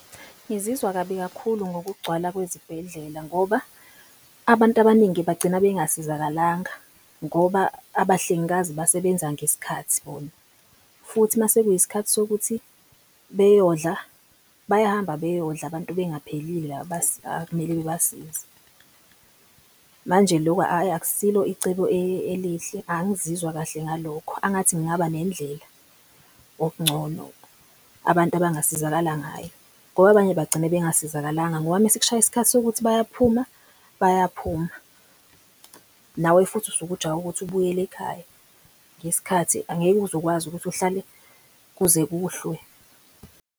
Ngizizwa kabi kakhulu ngokugcwala kwezibhedlela ngoba abantu abaningi bagcina bengasizakalanga ngoba abahlengikazi basebenza ngesikhathi bona. Futhi mase kuyisikhathi sokuthi beyodla bayahamba beyodla abantu bengaphilile . Laba akumele bebasize, manje loku ayi akusilo icebo elihle, angizizwa kahle ngalokho angathi kungaba nendlela okungcono abantu abangasizakala ngayo. Ngoba abanye bagcine bengasizakalanga ngoba uma sekushaya iskhathi sokuthi bayaphuma bayaphuma. Nawe futhi usuke ujahe ukuthi ubuyele ekhaya ngesikhathi angeke uze ukwazi ukuthi uhlale kuze kuhlwe.